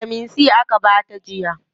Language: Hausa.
Bitamin C aka bata jiya.